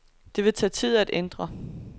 Det vil tage tid at ændre.